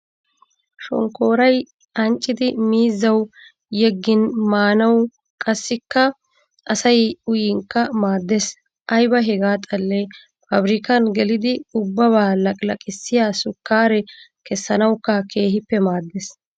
Shonkkooray anccidi miizzawu yeggin maanawu qassikka asay uyinkka maaddes. Ayiba hagaa xallee paabrikkan gelidi ubbabaa laqilaqissiya sukkaare kessanawukka keehippe maaddes.